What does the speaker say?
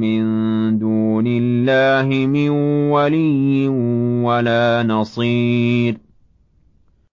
مِّن دُونِ اللَّهِ مِن وَلِيٍّ وَلَا نَصِيرٍ